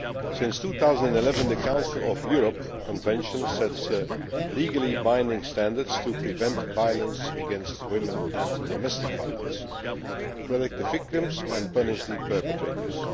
Since 2011 the Council of Europe Convention has set legally binding standards to prevent violence against women and domestic violence in order to protect the victims and punish the perpetrators.